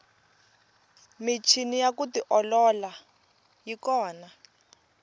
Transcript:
michini ya ku tiolola yi kona